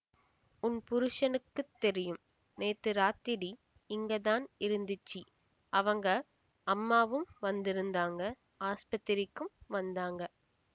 உன் புருஷனுக்குத் தெரியும் நேத்து ராத்திரி இங்கதான் இருந்திச்சி அவங்க அம்மாவும் வந்திருந்தாங்க ஆஸ்பத்திரிக்கும் வந்தாங்க